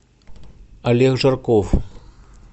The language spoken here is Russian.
олег жарков